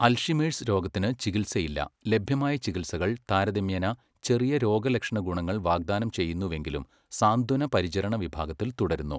Alzheimer's രോഗത്തിന് ചികിത്സയില്ല, ലഭ്യമായ ചികിത്സകൾ താരതമ്യേന ചെറിയ രോഗലക്ഷണ ഗുണങ്ങൾ വാഗ്ദാനം ചെയ്യുന്നുവെങ്കിലും സാന്ത്വന പരിചരണ വിഭാഗത്തിൽ തുടരുന്നു.